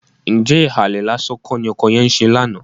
Ǹjẹ́ ìhàlẹ̀ lásán kọ́ ni ọkọ yẹn ń ṣe lánàá?